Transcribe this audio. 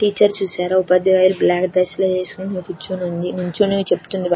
Teacher చూశారు ఉపాద్యాయురాలు black dress వేసుకొని ఉంది నుంచుని చెప్తూ ఉంది.